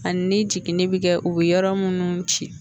Ani ni jiginni bɛ kɛ u bɛ yɔrɔ minnu ci.